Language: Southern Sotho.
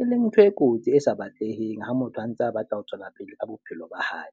E leng ntho e kotsi e sa batleheng ha motho a ntse a batla ho tswela pele ka bophelo ba hae.